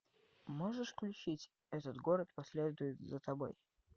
можешь включить этот город последует за тобой